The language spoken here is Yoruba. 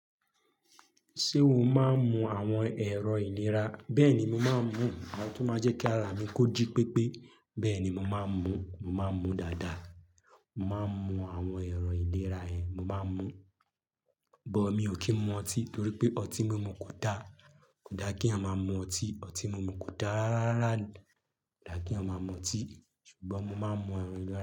Ṣé o máa ń mu àwọn ẹ̀rọ ìlera? Bẹ́ẹ̀ni, mo máa ń mu àwọn tó máa ń jẹ́ kí ara mi kó jí pépé. Bẹ́ẹ̀ni, mo máa ń mu, mo máa ń mu dáadáa. Mo máa ń mu àwọn ẹ̀rọ ìlera yẹn, mo máa ń mu. But mi ò kí ń mu ọtí torí pé ọtí mímu kò da. Kò da kí a máa mu ọtí. Ọtí mímu kò dára rárá. Kò da kí a máa mu ọtí ṣùgbọ́n mo máa ń mu àwọn ẹ̀rọ.